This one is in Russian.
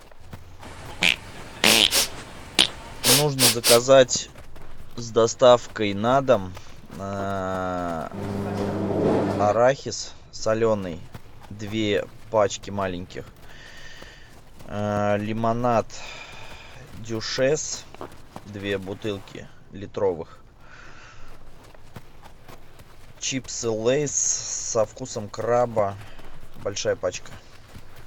нужно заказать с доставкой на дом арахис соленый две пачки маленьких лимонад дюшес две бутылки литровых чипсы лейс со вкусом краба большая пачка